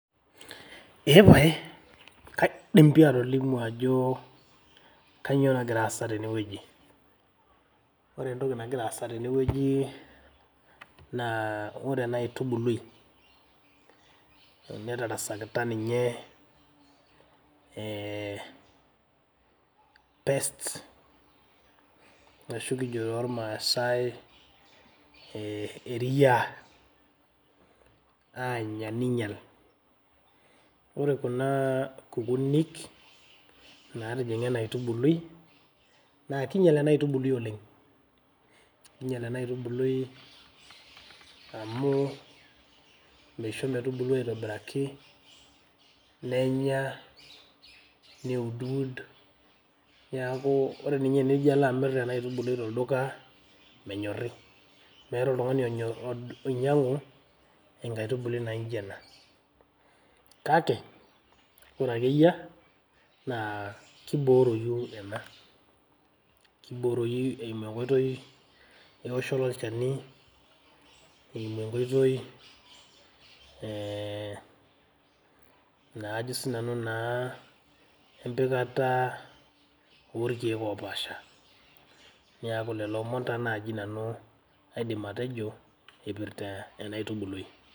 Eeeh paye kaidim pii atolimu ajo kainyio nagira aasa tene wueji. Ore entoki nagira aasa tene wueji naa ore ena aitubului netarasakita ninye ee pest ashu kijo too ilmaasae ehh eria. Aanya neinyial, ore kuna kukunik naatijing`a ena aitubului naa kinyial ena aitubului oleng. Keinyial ena aitubului ena aitubului amu misho metubulu aitobiraki nenya neuduwud niaku ore ninye pee ilo amirr ena aitubului tolduka menyorri. Meeta oltung`ani oinyiang`u enkaitubului naijo ena, kake ore ake eyia naa kibooroyu ena, kibooroyu eimu eenkoitoi ewoshoto olchani. Eimu enkoitoi ee naa ajo naa sinanu naa empikata oo ilkiek oopaasha. Niaku lelo omon taa naaji nanu aidim atejo eipirta ena aitubului.